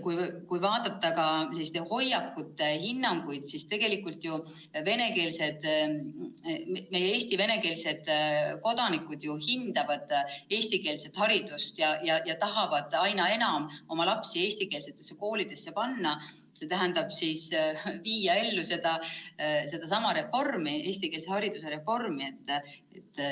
Kui vaadata hoiakuid ja hinnanguid, siis on näha, et tegelikult ju Eesti venekeelsed kodanikud hindavad eestikeelset haridust ja tahavad aina enam oma lapsi eestikeelsetesse koolidesse panna, st viia ellu sedasama eestikeelse hariduse reformi.